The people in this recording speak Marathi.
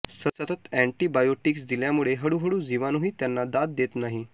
सतत अअँटीबायोटिक्स दिल्यामुळे हळूहळू जीवाणूही त्यांना दाद देत नाही